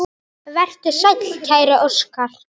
Vertu sæll, kæri Óskar.